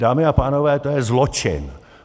Dámy a pánové, to je zločin!